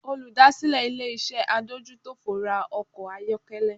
Olùdásílẹ̀ ilé-iṣẹ́ adójútòfò ra ọkọ̀ ayọ́kẹ́lẹ́